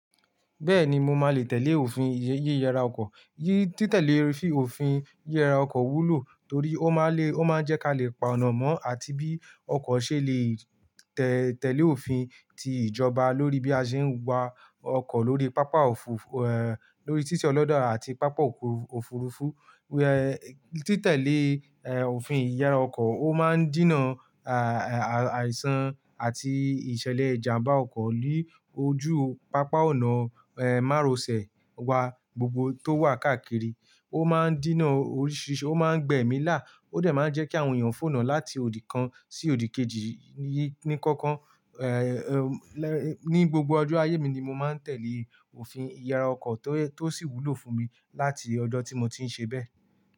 Bẹ́ẹ̀ni, mo máa le tẹ̀lé òfin yíyara ọkọ̀. Tí tẹ̀lé òfin yíyara ọkọ̀ wúlò torí ó máa le, ó máa ń jẹ́ ka lè pa ọ̀nà mọ́ àti bí ọkọ̀ ṣe lè tẹ̀lé òfin ti ìjọba lórí bí a ṣe ń wa ọkọ̀ lórí pápá òfurufú, lórí títí ọlọ́da àti pápá òfu-òfurufú. Tí tẹ̀lé, ẹ́, òfin ìyara ọkọ̀ ó máa ń dinà àìsàn àti ìṣẹ̀lẹ̀ ìjàmbá ọkọ̀ lójú pápá ọ̀nà márosẹ̀ wa gbogbo tó wà káàkiri. Ó máa ń dinà oríṣìíríṣìí, ó máa ń gbẹ̀mí lá, ó dà máa ń jẹ́ kí àwọn èèyàn fòná láti òdì kan sí òdì kejì ní kankan. Ẹ̀, ní gbogbo ọjọ́ ayé mi ni mo máa ń tẹ̀lé òfin ìyara ọkọ̀ tó sì wúlò fún mi láti ọjọ́ tí mo ti ń ṣe bẹ́ẹ̀.